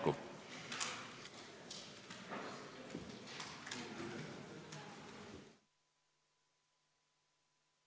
Istungi lõpp kell 15.25.